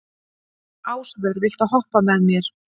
Ásvör, viltu hoppa með mér?